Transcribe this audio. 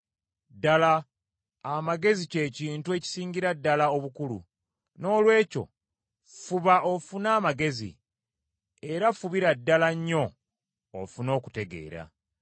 Ddala amagezi kye kintu ekisingira ddala obukulu; noolwekyo fuba ofune amagezi, era fubira ddala nnyo ofune okutegeera.